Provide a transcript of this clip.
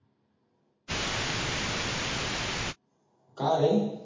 का रे